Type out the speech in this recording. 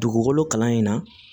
Dugukolo kalan in na